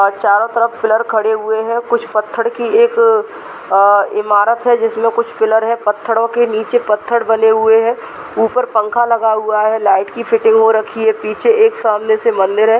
और चारों तरफ पिलर खड़े हुए हैं और कुछ पत्थर की एक अ इमारत है जिसमें कुछ पिलर है पत्थरों के नीचे पत्थर डले हुए हैं ऊपर पंखा लगा हुआ है लाइट की फिटिंग हो रखी है पीछे एक सामने से मंदिर है।